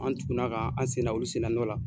An tukuna ka an sen da olu sen da nɔ la.